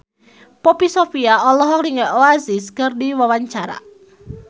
Poppy Sovia olohok ningali Oasis keur diwawancara